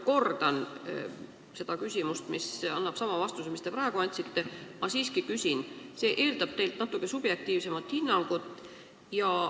Võib-olla ma esitan nüüd küsimuse, mis saab sama vastuse, nagu te praegu andsite, aga ma siiski küsin, sest see eeldab teilt natuke subjektiivsemat hinnangut.